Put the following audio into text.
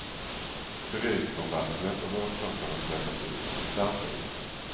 Det ryker om vattnet och vågtopparna slätas ut av den starka vinden.